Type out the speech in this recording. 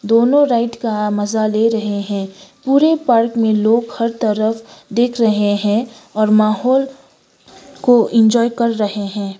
दोनों राइड का मजा ले रहे हैं पूरे पार्क में लोग हर तरफ दिख रहे हैं और माहौल को इंजॉय कर रहे हैं।